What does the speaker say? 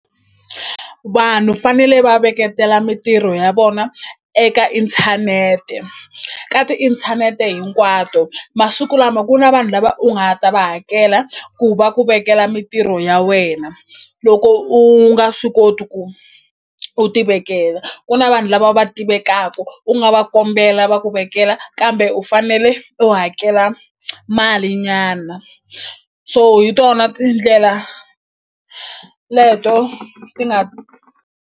Vanhu fanele va veketela mintirho ya vona eka inthanete ka tiinthanete hinkwato masiku lama ku na vanhu lava u nga ta va hakela ku va ku vekela mintirho ya wena loko u nga swi koti ku u tivekela ku na vanhu lava va tivekaku u nga va kombela va ku vekela kambe u fanele u hakela mali nyana so hi tona tindlela leto ti nga.